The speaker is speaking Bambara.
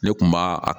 Ne kun b'a a